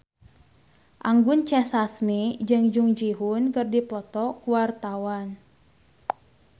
Anggun C. Sasmi jeung Jung Ji Hoon keur dipoto ku wartawan